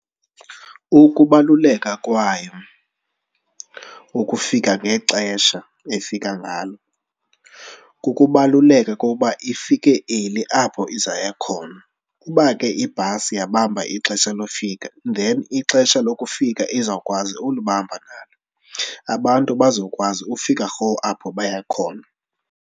Ukubaluleka kwayo, ukufika ngexesha efika ngalo, kukubaluleka koba ifike early apho izoya khona. Uba ke ibhasi yabamba ixesha lokufika then ixesha lokufika izawukwazi ukulibamba nalo. Abantu bazokwazi ufika rhowu apho baya khona.